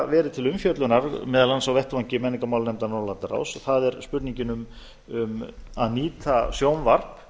verið til umfjöllunar meðal annars á vettvangi menningarmálanefndar norðurlandaráðs það er spurningin um að nýta sjónvarp